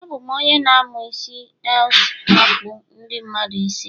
Abụ m onye n amu is else akpu ndi mmadu isi